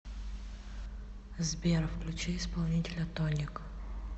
сбер включи исполнителя тоник